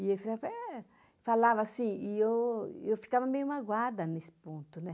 E eles falava eh, falavam assim, e eu e eu ficava meio magoada nesse ponto, né?